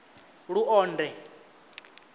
luonde